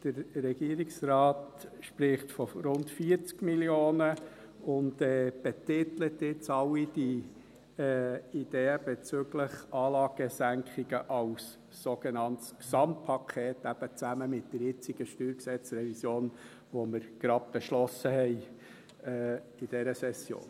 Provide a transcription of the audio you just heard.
Der Regierungsrat spricht von rund 40 Mio. Franken und betitelt jetzt all die Ideen bezüglich Anlagensenkungen als sogenanntes Gesamtpaket, eben zusammen mit der jetzigen StG-Revision, die wir in dieser Session gerade beschlossen haben.